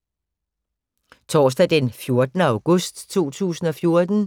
Torsdag d. 14. august 2014